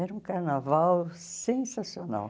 Era um carnaval sensacional.